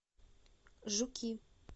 жуки